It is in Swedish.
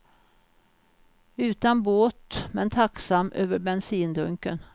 Utan båt, men tacksam över bensindunken.